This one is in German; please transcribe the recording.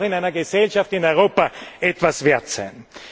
Das muss doch in einer Gesellschaft in Europa etwas wert sein!